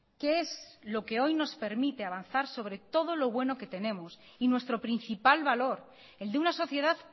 que es lo que hoy nos permite avanzar sobre todo lo bueno que tenemos y nuestro principal valor el de una sociedad